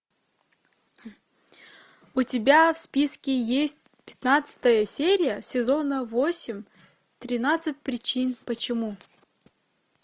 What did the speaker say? у тебя в списке есть пятнадцатая серия сезона восемь тринадцать причин почему